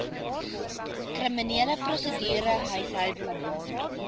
kriminele prosedure huishoudelike